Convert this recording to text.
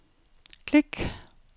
klik